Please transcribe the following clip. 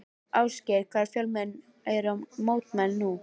Ásgeir, hversu fjölmenn eru mótmælin nú?